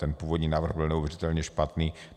Ten původní návrh byl neuvěřitelně špatný.